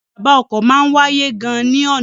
Ìjàmbá ọkọ máa ń wáyé gan ni ọna.